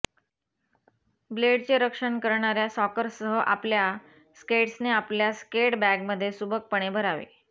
ब्लेडचे रक्षण करणाऱ्या सॉकर्ससह आपल्या स्केट्सने आपल्या स्केट बॅगमध्ये सुबकपणे भरावे